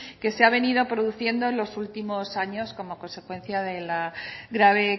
que se ha venido produciendo en los últimos años como consecuencia de la grave